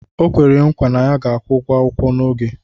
O kwere nkwa na ya ga-akwụ ụgwọ akwụkwọ n'oge